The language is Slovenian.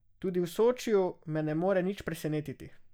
Tudi v Sočiju me ne more nič presenetiti.